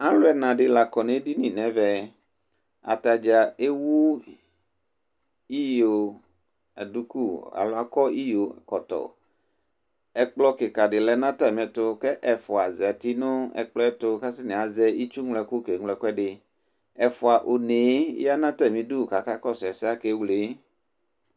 alʋ ɛna dini lakɔ nʋ ɛdini nʋɛmɛ, atagya ɛwʋ iyɔ dʋkʋ alɔ akɔ dʋkʋ kɔtɔ, ɛkplɔ kika di lɛnʋ atami ɛtʋ kʋ ɛƒʋa zati nʋ ɛkplɔɛ tʋ kʋ atani azɛ itsʋ mlɔ ɛkʋ kɛ mlɔ ɛkʋɛdi, ɛƒʋa ɔnɛ yanʋ atami idʋ kʋ akakɔsʋ ɛsɛ kʋ akɛ wlɛ